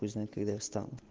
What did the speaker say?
пусть знает когда я встану